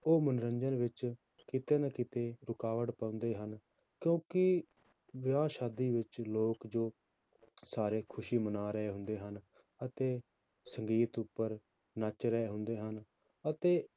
ਉਹ ਮਨੋਰੰਜਨ ਵਿੱਚ ਕਿਤੇ ਨਾ ਕਿਤੇ ਰੁਕਾਵਟ ਪਾਉਂਦੇ ਹਨ ਕਿਉਂਕਿ ਵਿਆਹ ਸ਼ਾਦੀ ਵਿੱਚ ਲੋਕ ਜੋ ਸਾਰੇ ਖ਼ੁਸ਼ੀ ਮਨਾ ਰਹੇ ਹੁੰਦੇ ਹਨ, ਅਤੇ ਸੰਗੀਤ ਉੱਪਰ ਨੱਚ ਰਹੇ ਹੁੰਦੇ ਹਨ, ਅਤੇ